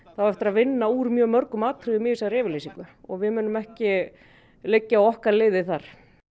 það á eftir að vinna úr mjög mörgum atriðum í þessari yfirlýsingu og við munum ekki liggja á okkar liði þar